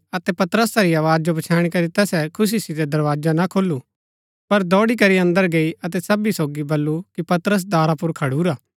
अतै पतरसा री आवाज जो पछैणी करी तैसै खुशी सितै दरवाजा ना खोलू पर दौड़ी करी अन्दर गई अतै सबी सोगी वलु की पतरस दारा पुर खडुरा